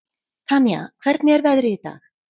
Tanía, hvernig er veðrið í dag?